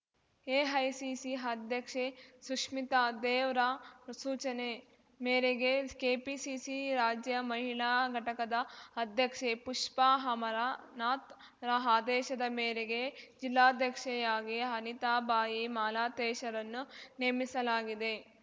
AICC ಅಧ್ಯಕ್ಷೆ ಸುಷ್ಮಿತಾ ದೇವ್‌ರ ಸೂಚನೆ ಮೇರೆಗೆ ಕೆಪಿಸಿಸಿ ರಾಜ್ಯ ಮಹಿಳಾ ಘಟಕದ ಅಧ್ಯಕ್ಷೆ ಪುಷ್ಪಾ ಅಮರನಾಥ್‌ರ ಆದೇಶದ ಮೇರೆಗೆ ಜಿಲ್ಲಾಧ್ಯಕ್ಷೆಯಾಗಿ ಅನಿತಾಬಾಯಿ ಮಾಲಾತೇಶರನ್ನು ನೇಮಿಸಲಾಗಿದೆ